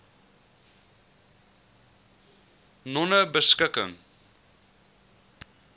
nonebeskikking